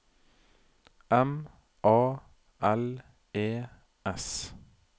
M A L E S